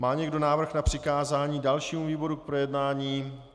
Má někdo návrh na přikázání dalšímu výboru k projednání?